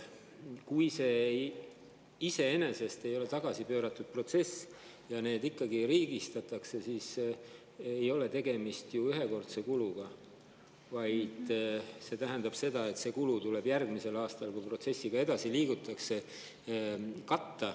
Kui see iseenesest ei ole tagasipööratud protsess ja need ikkagi riigistatakse, siis ei ole tegemist ühekordse kuluga, vaid see kulu tuleb katta järgmisel aastal, kui protsessiga edasi liigutakse.